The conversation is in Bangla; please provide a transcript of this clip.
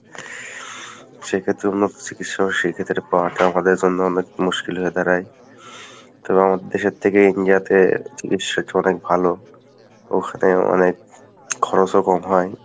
সেক্ষেত্রে উন্নত চিকিৎসা সেক্ষেত্রে এইটা পাওয়াটা আমাদের জন্য অনেক মুশকিল হয়ে দাড়ায় তো আমাদের দেশের থেকে India তে চিকিৎসা অনেক ভালো , ওখানে অনেক খরচও কম হয়।